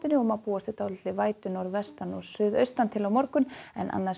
og má búast við dálítilli vætu norðvestan og suðaustantil á morgun en annars